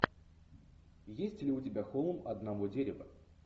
есть ли у тебя холм одного дерева